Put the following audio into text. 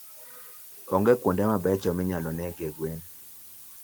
Onge kuonde mabeyo minyalo negie gwen.